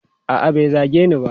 A'a, bai zage ni ba.